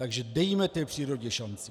Takže dejme té přírodě šanci!